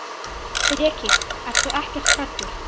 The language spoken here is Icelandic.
Breki: Ertu ekkert hræddur?